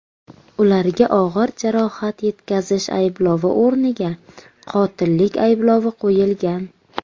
Ularga og‘ir jarohat yetkazish ayblovi o‘rniga qotillik ayblovi qo‘yilgan.